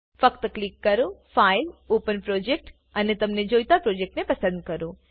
ફક્ત ક્લિક કરો file open project અને તમને જોઈતા પ્રોજેક્ટ ને પસંદ કરો